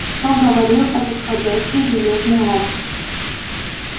что говорил этот ходячий железный лом